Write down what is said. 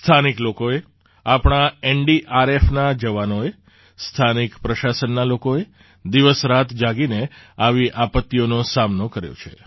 સ્થાનિક લોકોએ આપણા એનડીઆરએફના જવાનોએ સ્થાનિક પ્રશાસનના લોકોએ દિવસરાત જાગીને આવી આપત્તિઓનો સામનો કર્યો છે